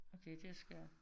Okay det er skørt